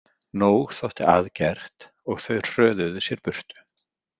Nóg þótti að gert, og þau hröðuðu sér burt.